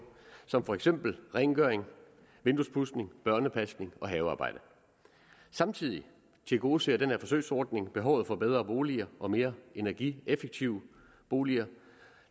som for eksempel rengøring vinduespudsning børnepasning og havearbejde samtidig tilgodeser den her forsøgsordning behovet for bedre boliger og mere energieffektive boliger